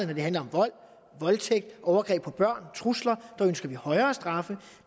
når det handler om vold voldtægt overgreb på børn og trusler ønsker vi højere straffe